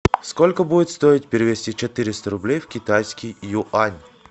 сколько будет стоить перевести четыреста рублей в китайский юань